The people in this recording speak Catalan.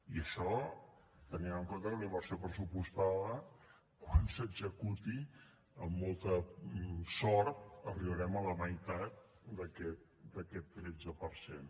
i això tenint en compte que la inversió pressupostada quan s’executi amb molta sort arribarem a la meitat d’aquest tretze per cent